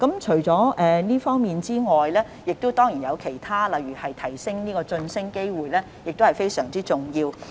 除了這方面外，當然也有其他措施，例如增加晉升機會亦同樣非常重要。